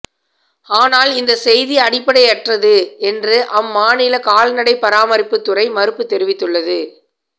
ஆனால் இந்த செய்தி அடிப்படையற்றது என்று அம்மாநில கால்நடை பராமரிப்புத்துறை மறுப்பு தெரிவித்துள்ளது